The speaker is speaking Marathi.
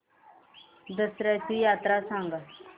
दसर्याची यात्रा सांगा